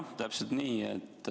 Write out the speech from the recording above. Jah, täpselt nii.